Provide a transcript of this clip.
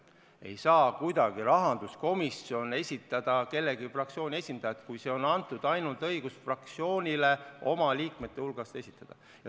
Ei saa kuidagi rahanduskomisjon esitada mõne fraktsiooni esindajat, see õigus on antud ainult fraktsioonile oma liikmete hulgast esitada.